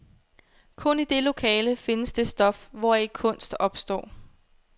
Kun i det lokale findes det stof, hvoraf kunst opstår.